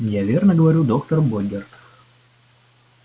я верно говорю доктор богерт